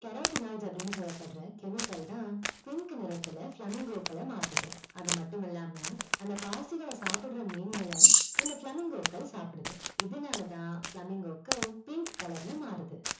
carotenoids அப்டின்னு சொல்லப்படுற chemical தான் pink நிறத்துல flamingo கள மாத்துது அது மட்டுமில்லாம அந்த பாசிகள சாபுட்ற அந்த மீன்கள இந்த flamingo கள் சாப்டுது இதுனால தான் flamingo கள் pink color ல மாறுது